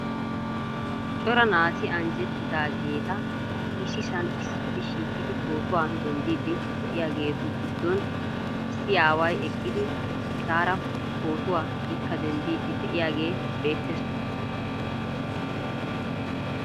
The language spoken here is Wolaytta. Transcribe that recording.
Cora naati anjjetidaageeta issisan issippe shiiqidi pootuwaa denddiidi de'iyaageetu giddon issi aaway eqqidi etaara pootuwa ikka denddiidi de'iyaagee beettees .